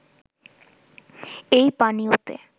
এই পানীয়তে